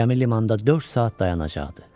Gəmi limanda dörd saat dayanacaqdı.